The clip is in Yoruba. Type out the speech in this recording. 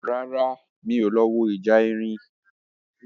Rárá, mi ò lọ wo ìjà erin